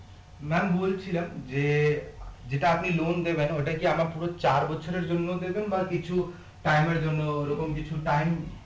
ma'am বলছিলাম যে যেটা আপনি loan দেবেন ওটা কি আবার পুরো চার বছরের জন্য দেবেন বা কিছু time এর জন্য ওরকম কিছু time